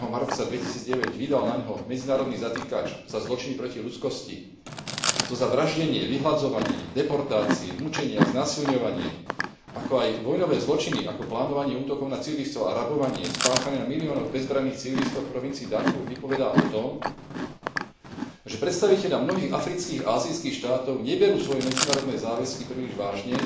4. marca 2009 vydal naňho medzinárodný zatykač za zločiny proti ľudskosti, a to za vraždenie, vyhladzovanie, deportáciu, mučenie a znásilňovanie, ako aj vojnové zločiny ako plánovanie útokov na civilistov a rabovanie spáchané na miliónoch bezbranných civilistov v provincii Darfúr vypovedá o tom, že predstavitelia mnohých afrických a ázijských štátov neberú svoje medzinárodné záväzky príliš vážne